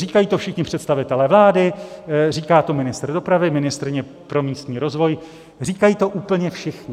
Říkají to všichni představitelé vlády, říká to ministr dopravy, ministryně pro místní rozvoj, říkají to úplně všichni.